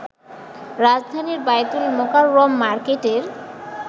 রাজধানীর বায়তুল মোকাররম মার্কেটের